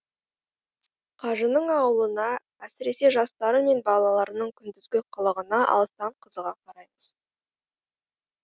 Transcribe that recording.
қажының ауылына әсіресе жастары мен балаларының күндізгі қылығына алыстан қызыға қараймыз